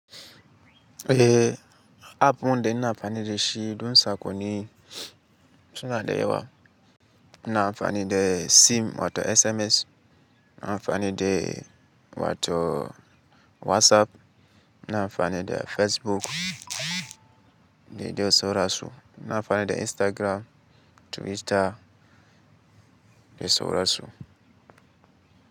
Eh, app ɗin na amfani da shi don saƙonni, suna da yawa. Na amfani da SIM wato SMS, na amfani da wato WhatsApp, na amfani da Facebook, dai dai sauransu. Na amfani da Instagram, Twitter, dai sauransu.